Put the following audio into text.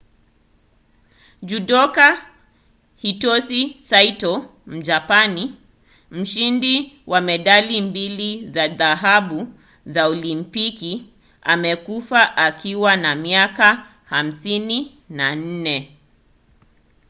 judoka hitosi saito mjapani mshindi wa medali mbili za dhahabu za olimpiki amekufa akiwa na miaka 54